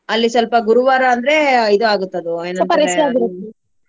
ಅಲ್ಲಿ ಸ್ವಲ್ಪಾ ಗುರುವಾರ ಅಂದ್ರೆ ಇದು ಆಗುತ್ತದು .